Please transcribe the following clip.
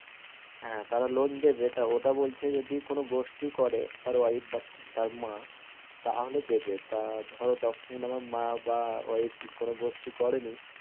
হ্যাঁ তারা loan দেবে তা ওটা বলছে যদি কোনো গোষ্ঠী করে তার wife বা তার মা তাহলে দেবে তা ধরো তখুন আমার মা বা wife কোনো গোষ্ঠী করেনি